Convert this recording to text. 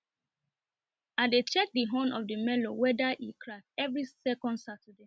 i dey check the horn of the melu weda e every